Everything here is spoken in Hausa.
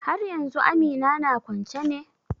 Haryanzu Amina na kwance ne?